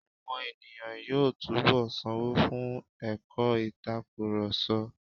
Àwọn ènìyàn yóò túnbọ̀ sanwó fún ẹ̀kọ́ ìtakurọ̀sọ.